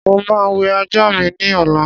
Mo máa wẹ ajá mi ní ọ̀la